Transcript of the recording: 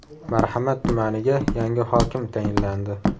Marhamat tumaniga yangi hokim tayinlandi.